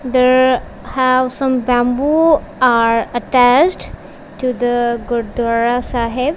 there have some bamboo are attached to the gurdwara saheb.